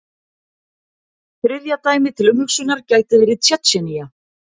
Þriðja dæmið til umhugsunar gæti verið Tsjetsjenía.